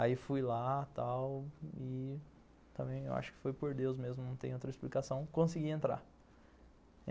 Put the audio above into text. Aí fui lá e acho que foi por Deus mesmo, não tem outra explicação, consegui entrar.